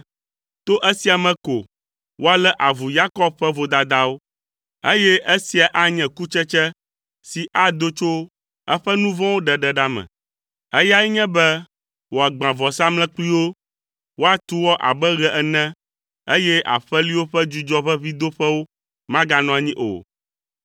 To esia me ko woalé avu Yakob ƒe vodadawo, eye esia anye kutsetse si ado tso eƒe nu vɔ̃wo ɖeɖe ɖa me. Eyae nye be wòagbã vɔsamlekpuiwo; woatu wɔ abe ɣe ene eye aƒeliwo ƒe dzudzɔʋeʋĩdoƒewo maganɔ anyi o.